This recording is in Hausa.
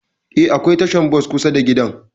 Eh, akwai tashar bas daura da gidan.